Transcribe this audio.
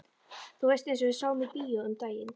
Þú veist eins og við sáum í bíó um daginn.